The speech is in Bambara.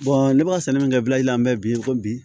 ne b'a sɛnɛ min kɛ bila ji la an bɛ bi ko bi